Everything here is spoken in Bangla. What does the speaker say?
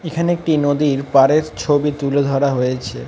এখানে একটি নদীর পারের ছবি তুলে ধরা হয়েছে।